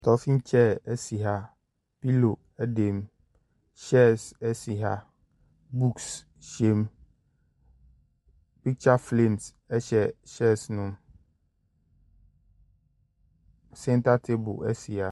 Stɔfin kyɛɛ asi ha. Pilo ɛdɛm, kyɛɛs asi ha. Buukus hyɛ mu. Piktya flams hyɛ kyɛɛs no mu. Sɛnta taabo esi ha.